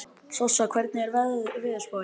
Sossa, hvernig er veðurspáin?